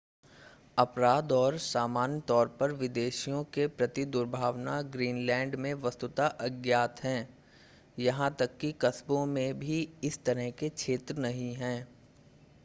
अपराध और सामान्य तौर पर विदेशियों के प्रति दुर्भावना ग्रीनलैंड में वस्तुतः अज्ञात है यहां तक कि कस्बों में भी इस तरह के क्षेत्र नहीं हैं